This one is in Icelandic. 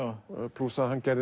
plús það að hann gerði